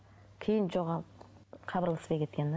кейін жоғалып хабарласпай кеткен де